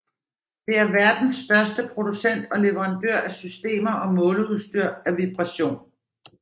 Det er verdens største producent og leverandør af systemer og måleudstyr af vibration